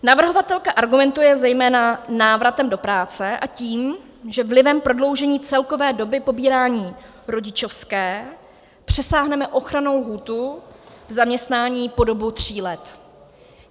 Navrhovatelka argumentuje zejména návratem do práce a tím, že vlivem prodloužení celkové doby pobírání rodičovské přesáhneme ochrannou lhůtu v zaměstnání po dobu tří let.